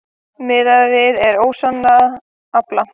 Miðað er við óslægðan afla